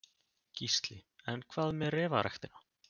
Gísli: En hvað með refaræktina?